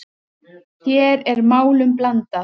Hér er málum blandað.